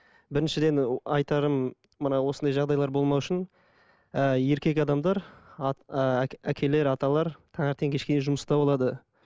біріншіден айтарым мына осындай жағдайлар болмау үшін і еркек адамдар әкелер аталар таңертең кешке дейін жұмыста болады